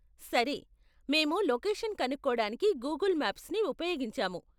సరే, మేము లొకేషన్ కనుక్కోడానికి గూగుల్ మ్యాప్స్ని ఉపయోగించాము.